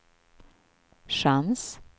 chans